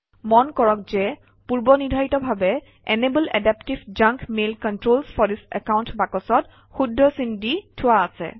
মন কৰক যে পূৰ্বনিৰ্ধাৰিতভাৱে enable adaptive junk mail controls for this account বাকচত শুদ্ধ চিন দি থোৱা আছে